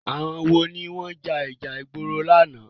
Àwọn wo ló ja ìjà ìgboro lánàá?